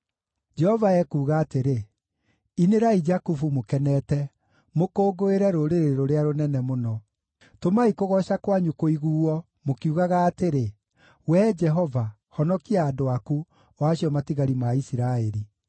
Jehova ekuuga atĩrĩ: “Inĩrai Jakubu mũkenete, mũkũngũĩre rũrĩrĩ rũrĩa rũnene mũno. Tũmai kũgooca kwanyu kũiguuo, mũkiugaga atĩrĩ, ‘Wee Jehova, honokia andũ aku, o acio matigari ma Isiraeli.’